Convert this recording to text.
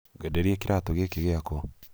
ngwenderie kĩratũ gĩkĩ gĩakwa?